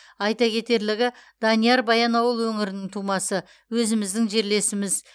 айта кетерлігі данияр баянауыл өңірінің тумасы өзіміздің жерлесіміз